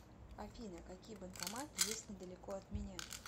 афина какие банкоматы есть недалеко от меня